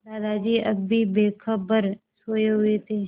दादाजी अब भी बेखबर सोये हुए थे